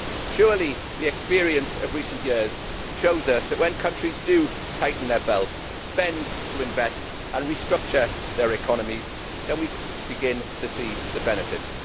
Surely the experience of recent years shows us that when countries do tighten their belts, spend to invest and restructure their economies, we begin to see the benefits.